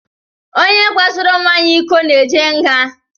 Onye kwasoro nwa ya ịkọ na-eje nga.